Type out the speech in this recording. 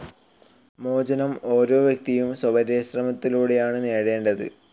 മോചനം ഓരോ വ്യക്തിയും സ്വപരിശ്രമത്തിലൂടെയാണ് നേടേണ്ടത്.